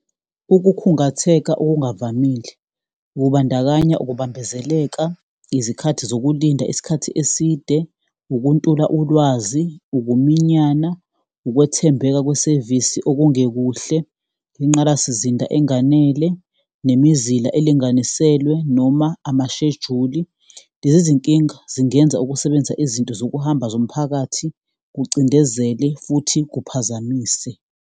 Ukukhungatheka okungavamile kubandakanya ukubambezeleka izikhathi zokulinda isikhathi eside, ukuntula ulwazi, ukuminyana, ukwethembeka kwesevisi okungekuhle, ingqalasizinda enganele, nemizila elinganiselwe noma amashejuli. Lezi zinkinga zingenza ukusebenzisa izinto zokuhamba zomphakathi kucindezele futhi kuphazamise.